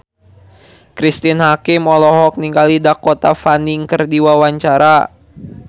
Cristine Hakim olohok ningali Dakota Fanning keur diwawancara